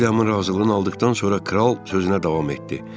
Villiamın razılığını aldıqdan sonra kral sözünə davam etdi.